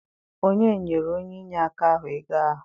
Onye nyere onye inyeaka ahụ ego ahụ?